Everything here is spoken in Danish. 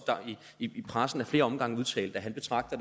i pressen ad flere omgange udtalt at han betragter